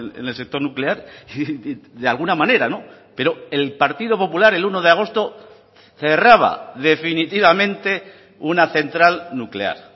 en el sector nuclear de alguna manera pero el partido popular el uno de agosto cerraba definitivamente una central nuclear